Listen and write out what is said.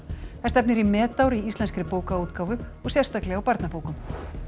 það stefnir í metár í íslenskri bókaútgáfu og sérstaklega á barnabókum